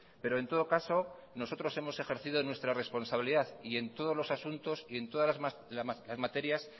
pero en todo caso nosotros hemos ejercido nuestra responsabilidad y en todos los asuntos y en todas las materias